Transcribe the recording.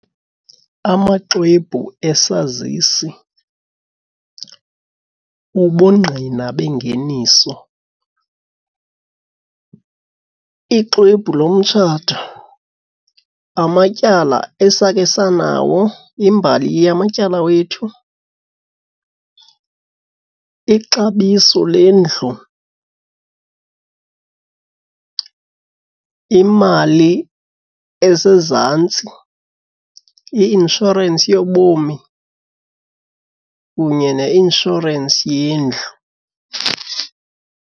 Amaxwebhu esazisi, ubungqina bengeniso, ixwebhu lomtshato, amatyala esake sanawo, imbali yamatyala wethu, ixabiso lendlu, imali esezantsi, i-inshorensi yobomi kunye neinshorensi yendlu.